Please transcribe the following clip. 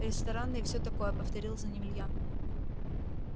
рестораны и всё такое повторил за ним илья